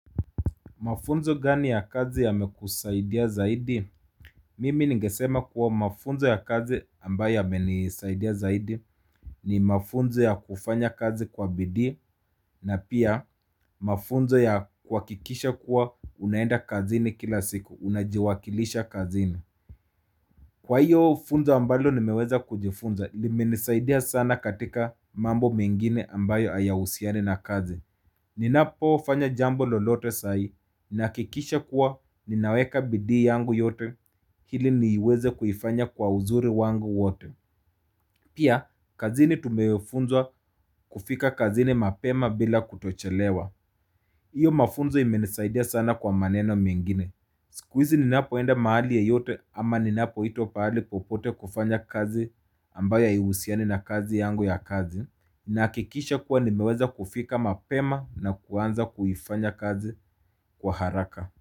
Mafunzo gani ya kazi yamekusaidia zaidi? Mimi ningesema kuwa mafunzo ya kazi ambayo yamenisaidia zaidi ni mafunzo ya kufanya kazi kwa bidii na pia mafunzo ya kuhakikisha kuwa unaenda kazi ni kila siku, unajiwakilisha kazini. Kwa iyo funzo ambalo nimeweza kujifunza limenisaidia sana katika mambo mengine ambayo hayahusiani na kazi. Ninapo ufanya jambo lolote sai, nakikisha kuwa ninaweka bidi yangu yote hili niweze kuifanya kwa uzuri wangu wote. Pia, kazini tumewefunzwa kufika kazini mapema bila kutochelewa. Iyo mafunzo imenisaidia sana kwa maneno mingine. Siku hizi ninapoenda mahali yoyote ama ninapo ito pahali popote kufanya kazi ambayo hahusiani na kazi yangu ya kazi. Na kikisha kuwa nimeweza kufika mapema na kuanza kufanya kazi kwa haraka.